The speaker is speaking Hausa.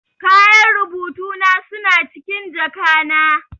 Kayan rubutu na suna cikin jaka na.